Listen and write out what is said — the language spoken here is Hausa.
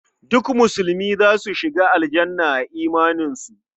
Duk musulmi za su shiga Aljanna a imaninsu.